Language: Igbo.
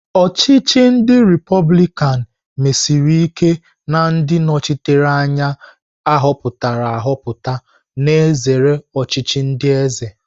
Ochichi ndi republikan mesiri ike na ndị nnọchiteanya a họpụtara ahọpụta, na-ezere ọchịchị ndi eze.